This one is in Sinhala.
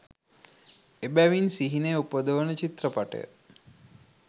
එබැවින් සිහිනය උපදවන චිත්‍රපටය